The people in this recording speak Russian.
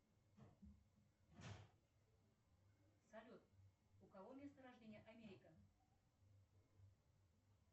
салют у кого место рождения америка